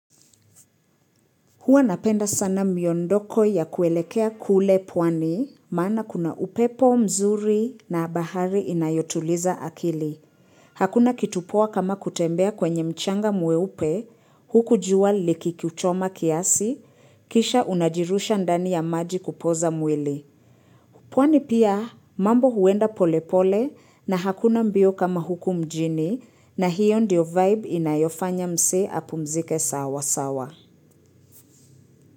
Huwa napenda sana miondoko ya kuelekea kule pwani, maana kuna upepo mzuri na bahari inayotuliza akili. Hakuna kitu poa kama kutembea kwenye mchanga mweupe, huku jua likikuchoma kiasi, kisha unajirusha ndani ya maji kupoza mwili. Pwani pia mambo huenda pole pole na hakuna mbio kama huku mjini na hiyo ndio vibe inayofanya msee apumzike sawa sawa.